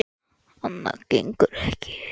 Annað gengur ekki.